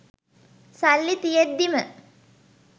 සල්ලි තියෙද්දිම